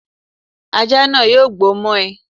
Ajá náà yóò gbó mọ́ ẹ